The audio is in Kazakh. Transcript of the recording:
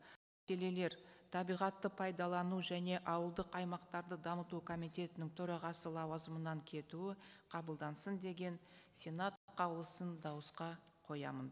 табиғатты пайдалану және ауылдық аймақтарды дамыту комитетінің төрағасы лауазымынан кетуі қабылдансын деген сенат қаулысын дауысқа қоямын